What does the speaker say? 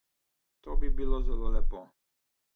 To bi bilo zelo lepo.